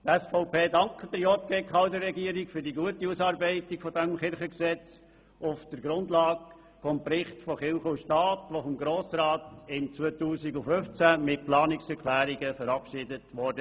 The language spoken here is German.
Die SVP dankt der JGK und der Regierung für die gute Ausarbeitung des Kirchengesetzes auf der Grundlage des Berichts «Kirche und Staat», der vom Grossen Rat im Jahr 2015 mit Planungserklärungen verabschiedet wurde.